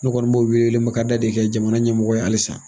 Ne kɔni bɔw wele makada de kɛ jamana ɲɛmɔgɔ ye hali san.